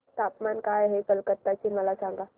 तापमान काय आहे कलकत्ता चे मला सांगा